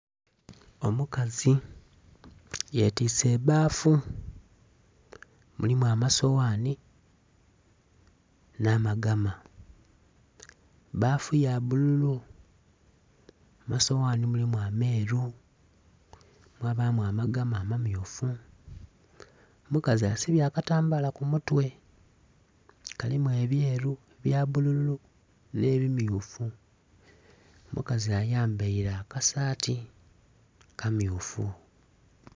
Omukazi ye twise ebbafu, mulimu amasoghani nha magama. Bbafu ya bbululu asoghani mulimu ameru, mwabamu amagama ama myuf, omukazi asibye akatambala ku mutwe kalimu ebyeru, ebya bbululu nhe ebimyufu. Omukazi ayambaire aka saati aka myufu.